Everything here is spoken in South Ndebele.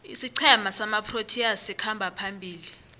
isiqhema samaproteas sikhamba phambili